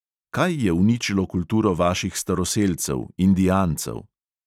Kaj je uničilo kulturo vaših staroselcev, indijancev?